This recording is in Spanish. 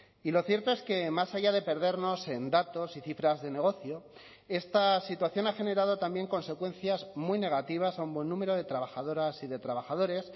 y lo cierto es que más allá de perdernos en datos y cifras de negocio esta situación ha generado también consecuencias muy negativas a un buen número de trabajadoras y de trabajadores